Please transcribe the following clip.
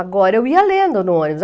Agora, eu ia lendo no ônibus.